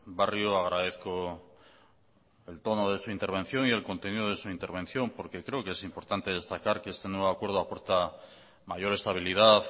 barrio agradezco el tono de su intervención y el contenido de su intervención porque creo que es importante destacar que este nuevo acuerdo aporta mayor estabilidad